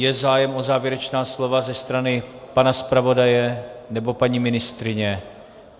Je zájem o závěrečná slova ze strany pana zpravodaje nebo paní ministryně?